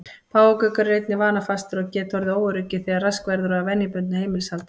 Páfagaukar eru einnig vanafastir og geta orðið óöruggir þegar rask verður á venjubundnu heimilishaldi.